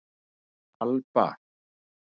Alba